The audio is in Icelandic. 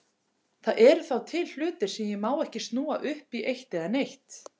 Það eru þá til hlutir sem ég má ekki snúa upp í eitt eða neitt.